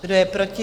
Kdo je proti?